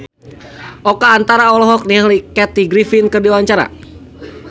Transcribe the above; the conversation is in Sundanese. Oka Antara olohok ningali Kathy Griffin keur diwawancara